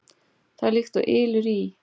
Það er líkt og ylur í